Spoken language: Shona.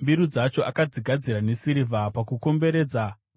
Mbiru dzacho akadzigadzira nesirivha,